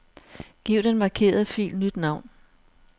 Giv den markerede fil nyt navn.